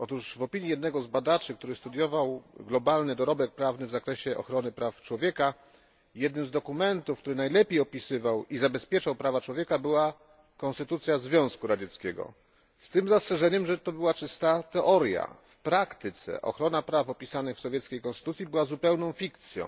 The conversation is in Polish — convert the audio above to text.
W opinii jednego z badaczy, który studiował globalny dorobek prawny w zakresie praw człowieka, jednym z dokumentów, który najlepiej opisywał i zabezpieczał prawa człowieka była konstytucja Związku Radzieckiego, z zastrzeżeniem, że była to czysta teoria. W praktyce ochrona praw opisanych w sowieckiej konstytucji była zupełną fikcją.